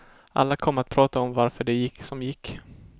Alla kommer att prata om varför det gick som gick.